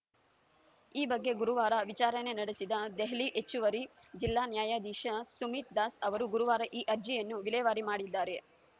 ಈ ಬಗ್ಗೆ ಗುರುವಾರ ವಿಚಾರಣೆ ನಡೆಸಿದ ದೆಹಲಿ ಹೆಚ್ಚುವರಿ ಜಿಲ್ಲಾ ನ್ಯಾಯಾಧೀಶ ಸುಮಿತ್‌ ದಾಸ್‌ ಅವರು ಗುರುವಾರ ಈ ಅರ್ಜಿಯನ್ನು ವಿಲೇವಾರಿ ಮಾಡಿದ್ದಾರೆ